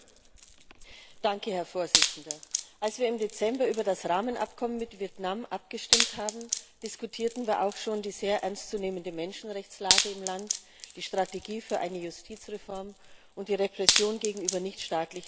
Herr Präsident! Als wir im Dezember über das Rahmenabkommen mit Vietnam abgestimmt haben, diskutierten wir auch schon die sehr ernstzunehmende Menschenrechtslage im Land, die Strategie für eine Justizreform und die Repressionen gegenüber nichtstaatlichen Organisationen.